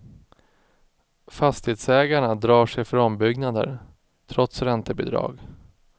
Fastighetsägarna drar sig för ombyggnader, trots räntebidrag.